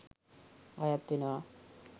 අයත් වෙනවා.